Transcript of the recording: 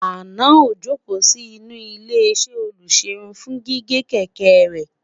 àná ojoko Si inú ilé iṣé olugerun fún gígé kékeré